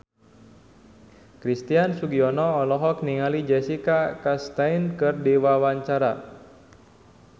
Christian Sugiono olohok ningali Jessica Chastain keur diwawancara